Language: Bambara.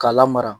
K'a lamara